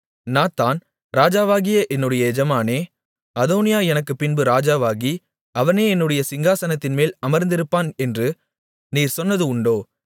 Nathan ராஜாவாகிய என்னுடைய எஜமானனே அதோனியா எனக்குப்பின்பு ராஜாவாகி அவனே என்னுடைய சிங்காசனத்தின்மேல் அமர்ந்திருப்பான் என்று நீர் சொன்னது உண்டோ